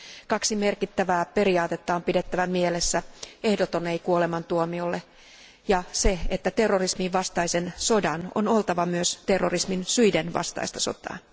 Kaksi merkittävää periaatetta on pidettävä mielessä ehdoton ei kuolemantuomiolle ja se, että terrorismin vastaisen sodan on oltava myös terrorismin syiden vastaista sotaa.